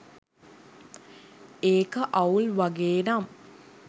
ඒක අවුල් වගේ නම්